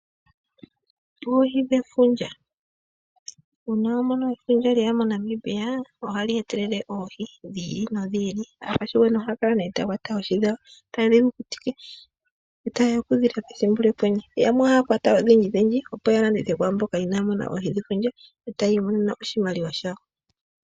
Oohi dhefundja. Uuna wa mono efundja lyeya moNamibia oha li oohi dhi ili nodhi ili. Aakwashigwana ohaya kala mee taya kwata oohi dhawo, taye dhi kukutike. E ta ye ya okudhi lya pethimbo lyOkwenye. Yo yamwe ohaya kwaya odhindji dhindji opo ya landithe kwaamboka inaya mona oohi dhefundja, e taya imonene oshimaliwa shawo.